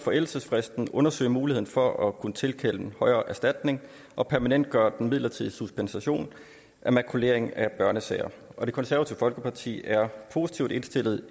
forældelsesfristen og undersøge muligheden for at kunne tilkende højere erstatning og permanentgøre den midlertidige suspension af makulering af børnesager det konservative folkeparti er positivt indstillet